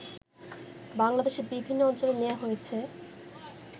বাংলাদেশের বিভিন্ন অঞ্চলে নেয়া হয়েছে